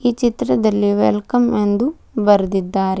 ಈ ಚಿತ್ರದಲ್ಲಿ ವೇಲ್ಕಮ್ ಎಂದು ಬರೆದಿದ್ದಾರೆ.